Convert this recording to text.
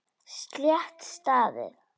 Slétt staðið.